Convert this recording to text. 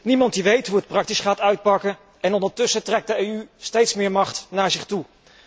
Niemand weet hoe het praktisch gaat uitpakken en ondertussen trekt de EU steeds meer macht naar zich toe.